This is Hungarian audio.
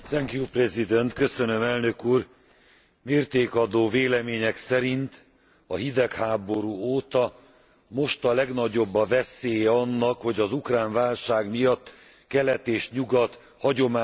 Mértékadó vélemények szerint a hidegháború óta most a legnagyobb a veszélye annak, hogy az ukrán válság miatt kelet és nyugat hagyományos szembenállása kiújuljon.